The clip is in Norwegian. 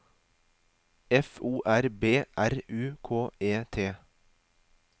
F O R B R U K E T